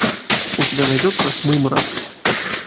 у тебя найдется мымра